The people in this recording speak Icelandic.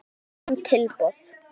Alls bárust fimm tilboð.